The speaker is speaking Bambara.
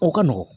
O ka nɔgɔn